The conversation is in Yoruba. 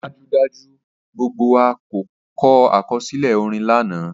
Dajudaju, gbogbo wa kọ akọsilẹ orin lana